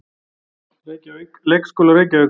Reykjavík: Leikskólar Reykjavíkur.